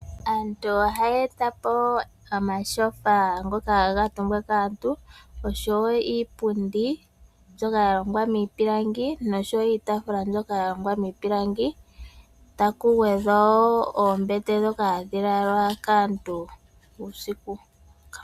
Aantu ohaya eta po omatyofa ngoka gaha kuutumbwa kaantu, osho wo iipundi niitaafula mbyoka ya longwa miipalangi taku gwedhwa wo oombete ndhoka hadhi lalwa kaantu uusiku.